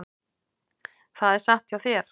Það er satt hjá þér.